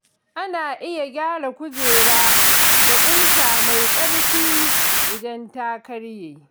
Ana iya gyara kujera da ƙusa mai ƙarfi idan ta karye.